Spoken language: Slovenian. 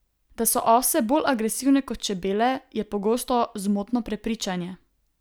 Da so ose bolj agresivne kot čebele, je pogosto zmotno prepričanje.